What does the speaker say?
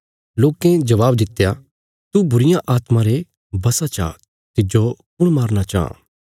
लोकें जबाब दित्या तू बुरीआत्मा रे वशा चा तिज्जो कुण मारना चांह